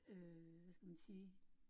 Øh hvad skal man sige